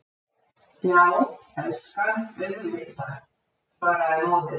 Já, elskan, auðvitað, svaraði móðirin.